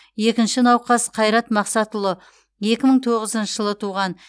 екінші науқас қайрат мақсатұлы екі мың тоғызыншы жылы туған